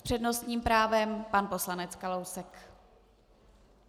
S přednostním právem pan poslanec Kalousek.